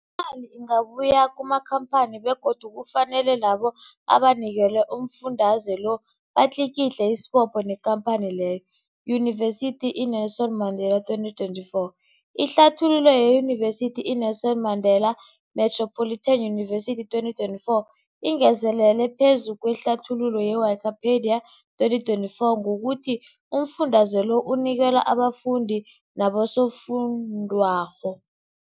Imali ingabuyi kumakhamphani begodu kufanele labo abanikelwa umfundaze lo batlikitliki isibopho neenkhamphani leyo, Yunivesity i-Nelson Mandela 2024. Ihlathululo yeYunivesithi i-Nelson Mandela Metropolitan University, 2024, ingezelele phezu kwehlathululo ye-Wikipedia, 2024, ngokuthi umfundaze lo unikelwa abafundi nabosofundwakgho.